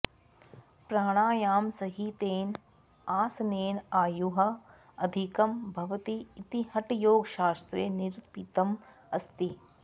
प्राणायामसहितेन आसनेन आयुः अधिकं भवति इति हठयोगशास्त्रे निरूपितम् अस्ति